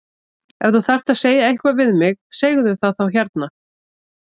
Ef þú þarft að segja eitthvað við mig segðu það þá hérna!